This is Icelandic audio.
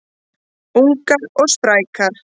Ungar og sprækar